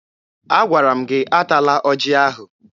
Agwara m gị atala ọjị ahụ!